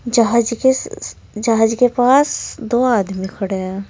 जहाज केस स् जहाज के पास दो आदमी खड़े हैं।